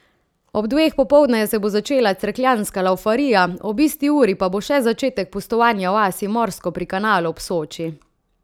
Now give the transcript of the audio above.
Ob dveh popoldne se bo začela cerkljanska laufarija, ob isti uri pa bo še začetek pustovanja v vasi Morsko pri Kanalu ob Soči.